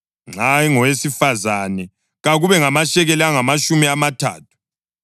Nxa engowesifazane, kakube ngamashekeli angamatshumi amathathu.